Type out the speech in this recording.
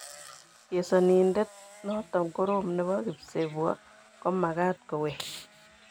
Chesanindiet notok Korom nebo kipsebwo komakat kowek.